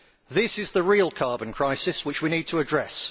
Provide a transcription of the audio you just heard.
This is the real carbon crisis which we need to address.